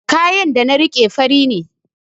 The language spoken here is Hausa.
Kayan da na riƙe fari ne